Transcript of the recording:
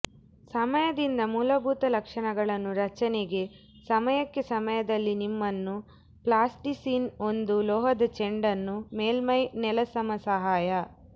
ಸಮಯದಿಂದ ಮೂಲಭೂತ ಲಕ್ಷಣಗಳನ್ನು ರಚನೆಗೆ ಸಮಯಕ್ಕೆ ಸಮಯದಲ್ಲಿ ನಿಮ್ಮನ್ನು ಪ್ಲಾಸ್ಟಿಸೀನ್ ಒಂದು ಲೋಹದ ಚೆಂಡನ್ನು ಮೇಲ್ಮೈ ನೆಲಸಮ ಸಹಾಯ